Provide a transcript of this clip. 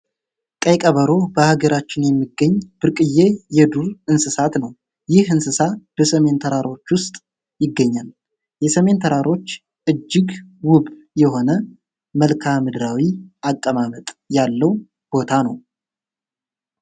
ቀይ ቀበሮ በሀገራችን የሚገኝ ብርቅየ የዱ እንስሳት ነው። ይህ እንስሳ በሰሜን ተራሮች ውስጥ ይገኛል። የሰሜን ተራሮች እጅግ ውብ የሆነ መልካ ምድራዊ አቀማመጥ ያለው ቦታ ነው።